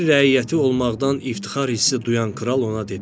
Bir rəiyyəti olmaqdan iftixar hissi duyan kral ona dedi: